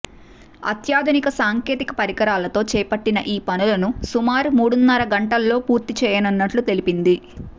అత్యాధునిక సాంకేతిక పరికరాలతో చేపట్టిన ఈ పనులను సుమారు మూడున్నర గంటల్లో పూర్తిచేయనున్నట్టు తెలిపింది